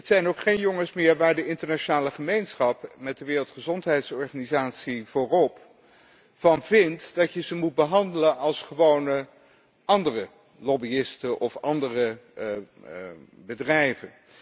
Het zijn ook geen jongens meer waar de internationale gemeenschap, met de Wereldgezondheidsorganisatie voorop, van vindt dat je ze moet behandelen als gewone andere lobbyisten of bedrijven.